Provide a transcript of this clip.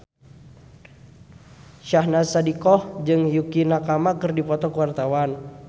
Syahnaz Sadiqah jeung Yukie Nakama keur dipoto ku wartawan